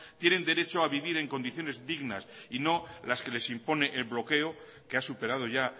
tienen derecho a vivir en condiciones dignas y no las que les impone el bloqueo que ha superado ya